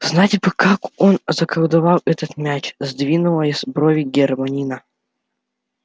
знать бы как он заколдовал этот мяч сдвинула брови гермиона